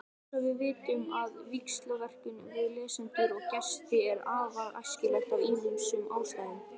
Eins vitum við að víxlverkun við lesendur og gesti er afar æskileg af ýmsum ástæðum.